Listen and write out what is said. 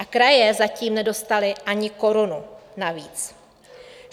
A kraje zatím nedostaly ani korunu navíc.